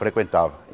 Frequentava.